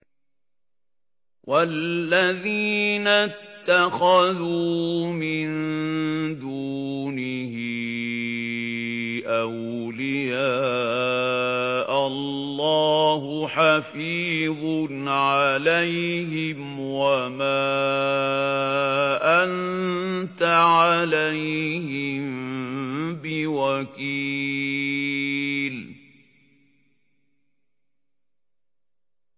وَالَّذِينَ اتَّخَذُوا مِن دُونِهِ أَوْلِيَاءَ اللَّهُ حَفِيظٌ عَلَيْهِمْ وَمَا أَنتَ عَلَيْهِم بِوَكِيلٍ